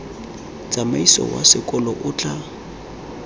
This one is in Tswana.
tsamaiso wa sekolo o tla